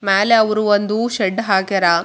ಮ್ಯಾಲೆ ಅವ್ರು ಒಂದು ಶೆಡ್ಡ್ ಹಾಕ್ಯಾರ.